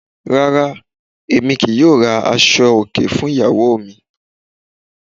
Rárá, emi kíì yọ̀ọ̀ ra aso-ọ̀kẹ́ fún igbèyawọ̀ mi